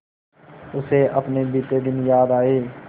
उसे अपने बीते दिन याद आए